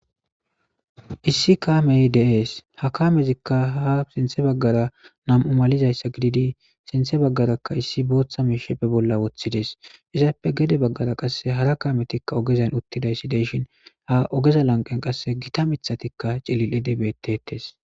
Issi kaamee de7ees;ha kaametzikka ha sinththa baggaara nam7u malizayssa gididi sinthe baggaarakka issi booththa miishshi be bolla woththi des;izapppe gede baggara hara kaamethikka ogezan uthidayssi de7ishin a ogeza lanqqen qassi githa miththathikka cilil7idi beeththeeththes.